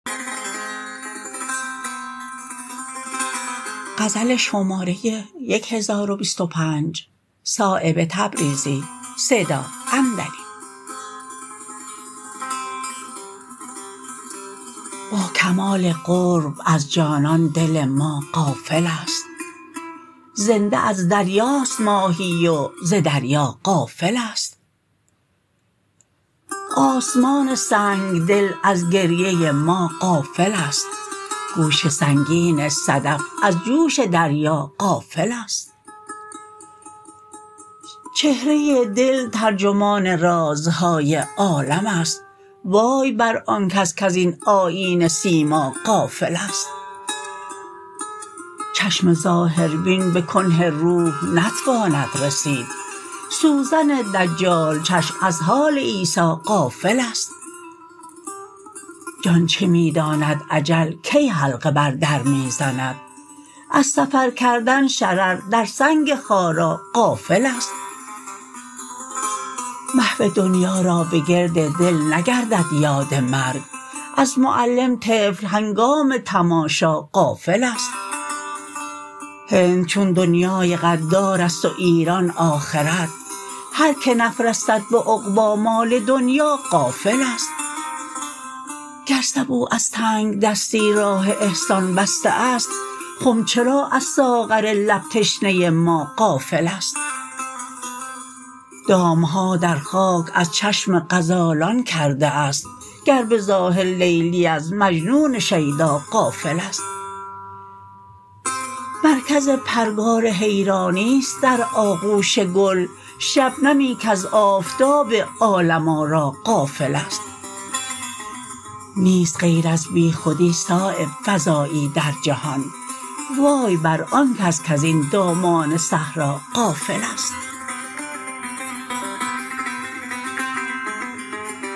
با کمال قرب از جانان دل ما غافل است زنده از دریاست ماهی و ز دریا غافل است آسمان سنگدل از گریه ما غافل است گوش سنگین صدف از جوش دریا غافل است چهره دل ترجمان رازهای عالم است وای بر آن کس کز این آیینه سیما غافل است چشم ظاهربین به کنه روح نتواند رسید سوزن دجال چشم از حال عیسی غافل است جان چه می داند اجل کی حلقه بر در می زند از سفر کردن شرر در سنگ خارا غافل است محو دنیا را به گرد دل نگردد یاد مرگ از معلم طفل هنگام تماشا غافل است هند چون دنیای غدارست و ایران آخرت هر که نفرستد به عقبی مال دنیا غافل است گر سبو از تنگدستی راه احسان بسته است خم چرا از ساغر لب تشنه ما غافل است دام ها در خاک از چشم غزالان کرده است گر به ظاهر لیلی از مجنون شیدا غافل است مرکز پرگار حیرانی است در آغوش گل شبنمی کز آفتاب عالم آرا غافل است نیست غیر از بیخودی صایب فضایی در جهان وای بر آن کس کز این دامان صحرا غافل است